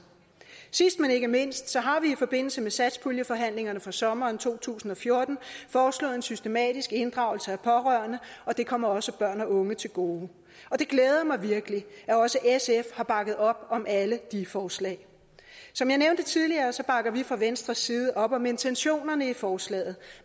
sidst men ikke mindst har vi i forbindelse med satspuljeforhandlingerne for sommeren to tusind og fjorten foreslået en systematisk inddragelse af pårørende og det kommer også børn og unge til gode og det glæder mig virkelig at også sf har bakket op om alle de forslag som jeg nævnte tidligere bakker vi fra venstres side op om intentionerne i forslaget